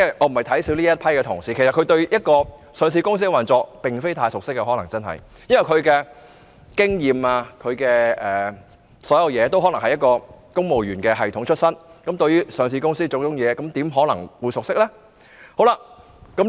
我並非小看這批同事，但他們可能對上市公司的運作真的不太熟悉，因為他們的工作經驗等全來自公務員系統，對於上市公司的種種運作又怎可能熟悉呢？